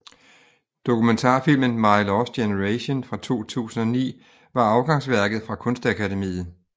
Dokumentarfilmen My lost generation fra 2009 var afgangsværket fra Kunstakademiet